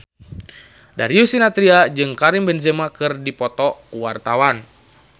Darius Sinathrya jeung Karim Benzema keur dipoto ku wartawan